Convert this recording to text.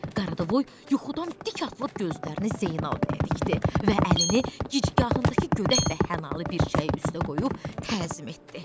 Qaradavoy yuxudan dik atılıb gözlərini Zeynəb bəyə dikdi və əlini gicgahındakı gödək və hanalı bir çəyi üstə qoyub təzim etdi.